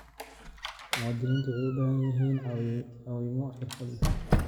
Muwaadiniintu waxay u baahan yihiin caawimo xirfad leh.